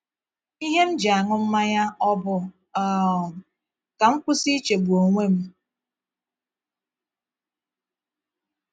Ihe m ji aṅụ mmanya ọ̀ bụ um ka m kwụsị ichegbu onwe m?